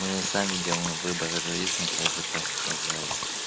мы сами делаем выбор жизни как бы так сказать